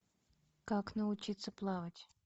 как научиться плавать